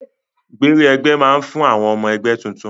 Gbẹrẹ ẹgbẹ máa n fún àwọn ọmọ ẹgbẹ tuntun.